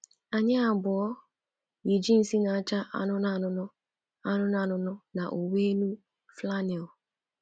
Anyị abụọ yi jịnsị na-acha anụnụ anụnụ anụnụ anụnụ na uwe-enu flannel.